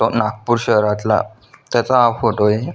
नागपूर शहरातला त्याचा हा फोटो आहे.